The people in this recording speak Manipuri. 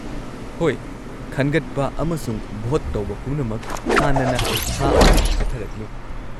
ꯍꯣꯏ, ꯈꯟꯒꯠꯄ ꯑꯃꯁꯨꯡ ꯚꯣꯠ ꯇꯧꯕ ꯄꯨꯝꯅꯃꯛ ꯍꯥꯟꯅꯅ ꯊꯥ ꯑꯃ ꯆꯠꯊꯔꯛꯂꯤ꯫